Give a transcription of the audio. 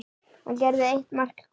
gerði eitt mark hver.